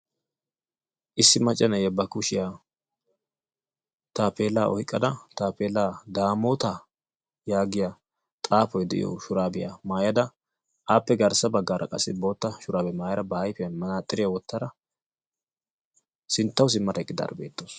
Issi macca na'iya ba kushiyan taappeellaa oyiqqada taappeellaa "daamoota" yaagiya xaafoy de'iyo shuraabiya mayada aappe garssa baggaara qassi bootta shuraabiya mayada ba ayifiyan manaaxxiriya wottada sinttawu simmada eqqidaara beettawusu.